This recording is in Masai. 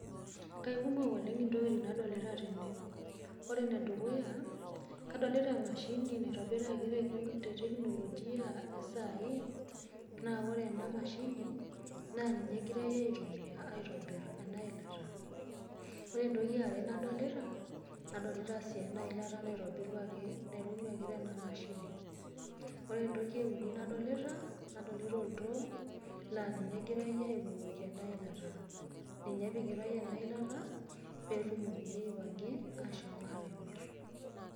Kaikumok oleng' intokitin nadolita tene. Ore enedukuya kadolita emashini naitobiraki te teknologia esaai naa ore ena mashini naa ninye egirai aitumiya aitobir ena ilata. Ore entoki eare nadolita, nadolita sii ena ilata naitobiruaki tene mashini. Ore entoki euni nadolita, nadolita oltoo laa ninye egirai abukoki ena ilata, ninye epikitai ena ilata pee etumokini ashom aatimir.